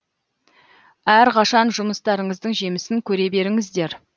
әрқашан жұмыстарыңыздың жемісін көре беріңіздер